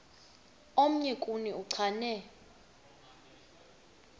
omnye kuni uchane